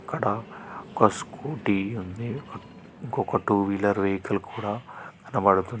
అక్కడ ఒక స్కూటీ ఉంది ఒక ఇంకొక టూ వీలర్ వెహికల్ కూడా కనబడుతున్--